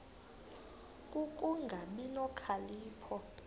ku kungabi nokhalipho